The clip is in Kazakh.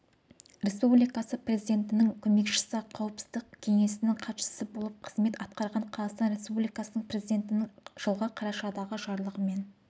республикасы президентінің көмекшісі қауіпсіздік кеңесінің хатшысы болып қызмет атқарған қазақстан республикасы президентінің жылғы қарашадағы жарлығымен